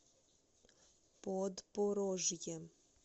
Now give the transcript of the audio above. подпорожье